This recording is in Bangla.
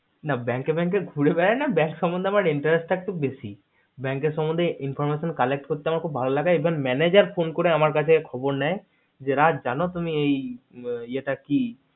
না bank এ bank এ ঘুরে বেড়াইনা bank সম্মন্ধে interest টা একটু বেশি bank এর সম্মন্ধে information collect করতে আমার খুব ভালো লাগে even manager phone করে আমার কাছে খবর নেয় যে রাজ জানো তুমি এই ইয়েটা কি